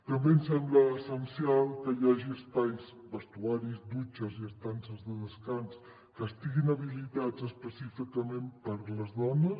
també ens sembla essencial que hi hagi espais vestidors dutxes i estances de descans que estiguin habilitats específicament per a les dones